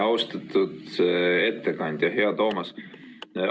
Austatud ettekandja, hea Toomas!